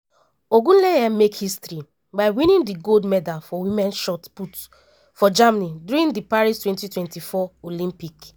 ogunleye make history by winning di gold medal for women shot put for germany during di paris 2024 olympic.